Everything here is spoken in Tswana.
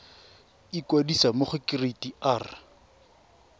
ikwadisa mo go kereite r